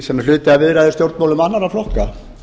sem er hluti af viðræðustjórnmálum annarra flokka